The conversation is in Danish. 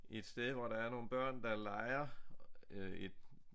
Et sted hvor der er nogle børn der leger øh et